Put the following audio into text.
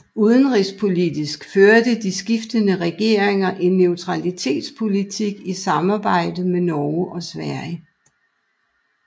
Udenrigspolitisk førte de skiftende regeringer en neutralitetspolitik i samarbejde med Norge og Sverige